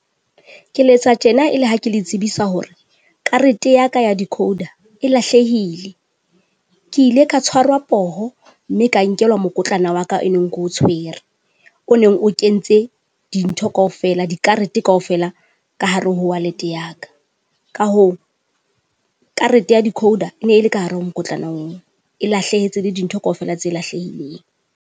Ke letsa tjena e le ha ke le tsebisa hore, karete yaka ya decoder e lahlehile. Ke ile ka tshwarwa poho, mme ka nkelwa mokotlana waka e neng keo tshwere. O neng o entse dintho kaofela, di karete kaofela ka hare ho wallet yaka. Ka hoo, karete ya decoder ene ele ka hare ho mokotlana oo, e lahlehetse le dintho kaofela tse lahlehileng.